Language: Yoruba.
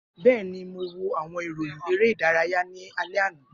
Bẹẹni, Mo wo awọn iroyin ere idaraya ni alẹ ana.